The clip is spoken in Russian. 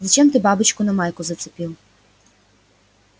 зачем ты бабочку на майку зацепил